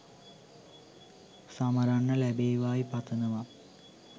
සමරන්න ලැබේවායි පතනව